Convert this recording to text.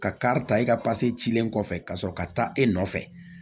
Ka kari ta e ka cilen kɔfɛ ka sɔrɔ ka taa e nɔfɛ